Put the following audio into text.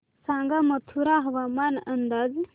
सांगा मथुरा हवामान अंदाज